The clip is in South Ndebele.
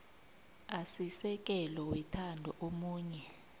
asisekelo wethando omunye